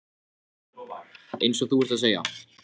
Eins og þú ert að segja.